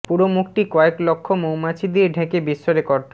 পুরো মুখটি কয়েক লক্ষ মৌমাছি দিয়ে ঢেকে বিশ্ব রেকর্ড